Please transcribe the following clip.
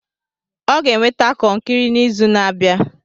Ọ ga-eweta kọnkri n'izu na-abịa.